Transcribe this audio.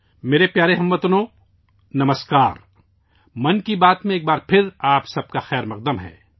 میرے پیارے ہم وطنو، نمسکار، ایک بار پھر آپ سب کا 'من کی بات' میں خیرمقدم ہے